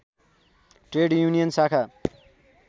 trade union शाखा